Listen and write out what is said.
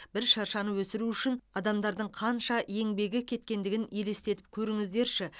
бір шыршаны өсіру үшін адамдардың қанша еңбек кеткендігін елестетіп көріңіздерші